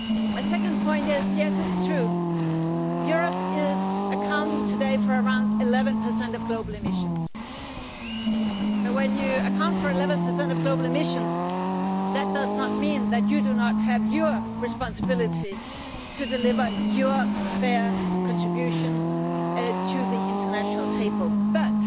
My second point is yes, it is true, Europe today accounts for around 11 of global emissions, but when you account for 11 of global emissions that does not mean that you do not have a responsibility to deliver your fair contribution to the international table. But